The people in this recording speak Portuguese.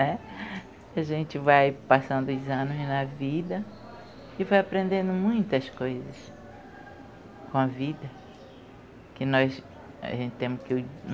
A gente vai passando os anos na vida e vai aprendendo muitas coisas com a vida.